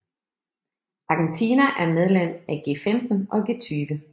Argentina er medlem af G15 og G20